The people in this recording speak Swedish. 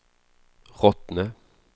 Rottne